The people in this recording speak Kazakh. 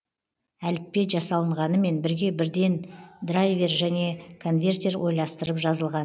әліппе жасалынғанымен бірге бірден драйвер және конвертер ойластырып жазылған